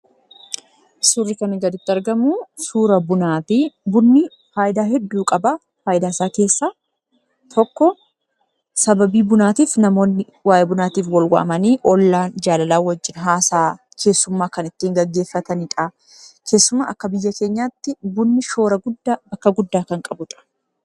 Suurri kanaa gaditti argamu suura Bunaati. Bunni faayidaa hedduu qaba. Faayidaa isaa keessaa tokko, sababii Bunaatiif namoonni waayee Bunaatiif wal waamanii, ollaan jaalalaan wajjin haasa'aa keessummaa kan ittiin geggeeffataniidha. Keessumaa akka biyya keenyaatti bunni shoora guddaa, bakka guddaa kan qabuudha.